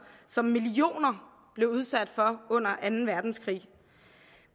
som millioner blev udsat for under anden verdenskrig